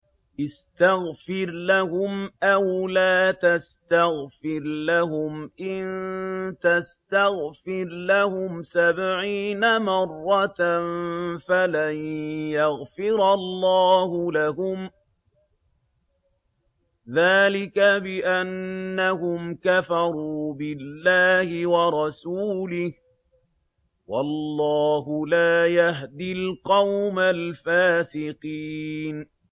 اسْتَغْفِرْ لَهُمْ أَوْ لَا تَسْتَغْفِرْ لَهُمْ إِن تَسْتَغْفِرْ لَهُمْ سَبْعِينَ مَرَّةً فَلَن يَغْفِرَ اللَّهُ لَهُمْ ۚ ذَٰلِكَ بِأَنَّهُمْ كَفَرُوا بِاللَّهِ وَرَسُولِهِ ۗ وَاللَّهُ لَا يَهْدِي الْقَوْمَ الْفَاسِقِينَ